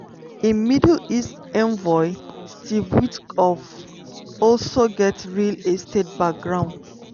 im middle east envoy steve witkoff also get real estate background.